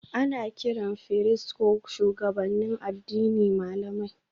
Ana kiran firist ko shugabannin addini malamai